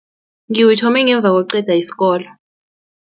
Ngiwuthome ngemva kokuqeda isikolo.